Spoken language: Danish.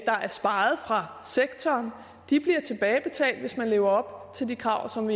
der er sparet fra sektoren for de bliver tilbagebetalt hvis man lever op til de krav som